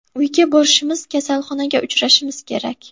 Uyga borishimiz, kasalxonaga uchrashimiz kerak.